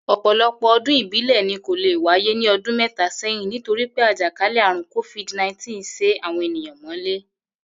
Ò̩pò̩lo̩pò̩ o̩dún ìbílè̩ ni kò lè wáyé ní o̩dún mé̩ta sé̩yìn nítorí pé àjè̩kálè̩ àrùn covid-nineteen sé àwo̩n ènìyàn mó̩lé